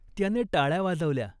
त्याने टाळ्या वाजवल्या.